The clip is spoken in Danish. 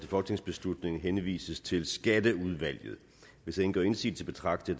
folketingsbeslutning henvises til skatteudvalget hvis ingen gør indsigelse betragter